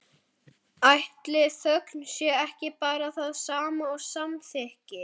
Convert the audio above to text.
Ætli þögn sé ekki bara það sama og samþykki?